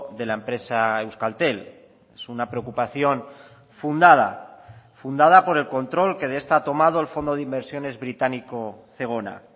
de la empresa euskaltel es una preocupación fundada fundada por el control que de esta ha tomado el fondo de inversiones británico zegona